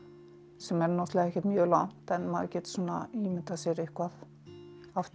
sem er náttúrulega ekkert mjög langt en maður getur svona ímyndað sér eitthvað aftur